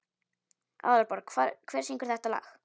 Aðalborg, hver syngur þetta lag?